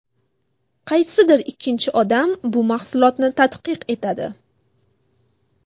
Qaysidir ikkinchi odam bu mahsulotni tadqiq etadi.